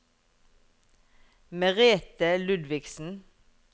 Merethe Ludvigsen